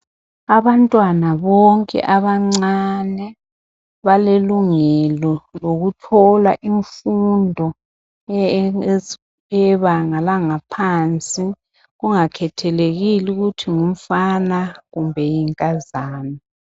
Abantwana bonke abancane balelungelo lokuthola imfundo eyebanga langaphansi kungakhethelekile ukuthi ngumfana kumbe yinkazana